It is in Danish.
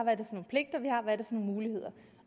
og muligheder